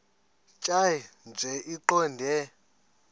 tjhaya nje iqondee